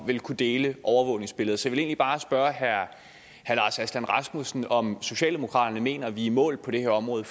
ville kunne dele overvågningsbilleder så jeg vil egentlig bare spørge herre lars aslan rasmussen om socialdemokraterne mener at vi er i mål på det her område